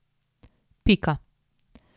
Pika.